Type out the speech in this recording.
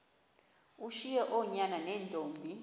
ushiye oonyana neentombi